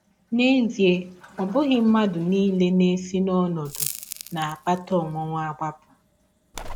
N’ezie, ọ bụghị mmadụ nile na - esi n’ọnọdụ na - akpata ọnwụnwa agbapụ.